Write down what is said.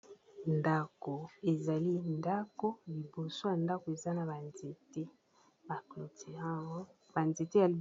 ndako ezali ndako liboso ya ndako eza na banzete bacotirar banzete